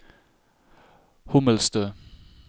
Hommelstø